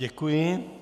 Děkuji.